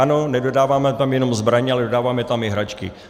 Ano, nedodáváme tam jenom zbraně, ale dodáváme tam i hračky.